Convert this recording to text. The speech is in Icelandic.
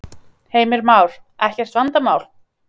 Heimir Már: Ekkert vandamál?